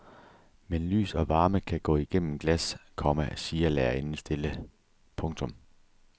Men lys og varme kan gå igennem glas, komma siger lærerinden stille. punktum